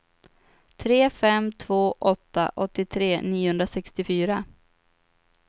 tre fem två åtta åttiotre niohundrasextiofyra